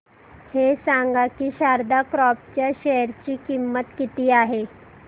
हे सांगा की शारदा क्रॉप च्या शेअर ची किंमत किती आहे